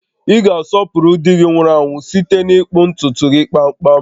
Ị ga-asọpụrụ di gị nwụrụ anwụ site n'ịkpụ ntutu gị kpamkpam